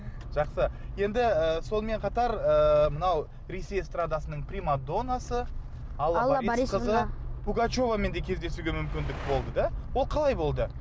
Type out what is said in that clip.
жақсы енді ы сонымен қатар ыыы мынау ресей эстрадасының примадоннасы алла борисқызы пугачевамен де кездесуге мүмкіндік болды да ол қалай болды